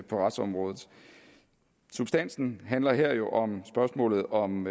retsområdet substansen handler her jo om spørgsmålet om